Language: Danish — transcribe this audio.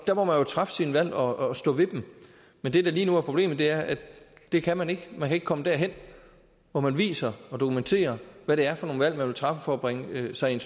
der må man jo træffe sine valg og stå ved dem men det der lige nu er problemet er at det kan man ikke man kan ikke komme derhen hvor man viser og dokumenterer hvad det er for nogen valg man vil træffe for at bringe sig i en